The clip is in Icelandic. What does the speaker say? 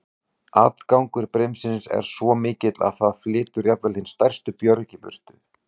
Atgangur brimsins er þar svo mikill að það flytur jafnvel hin stærstu björg í burtu.